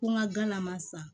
Ko n ka galama san